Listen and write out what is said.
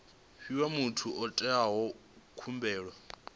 fhiwa muthu o itaho khumbelo